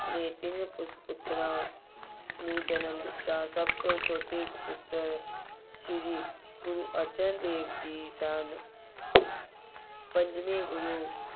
ਨੇ ਤਿੰਨ ਪੁੱਤਰਾਂ ਨੂੰ ਜਨਮ ਦਿੱਤਾ। ਸਭ ਤੋਂ ਛੋਟੇ ਸਪੁੱਤਰ ਸ਼੍ਰੀ ਗੁਰੂ ਅਰਜਨ ਦੇਵ ਜੀ ਸਨ। ਪੰਜਵੇਂ ਗੁਰੂ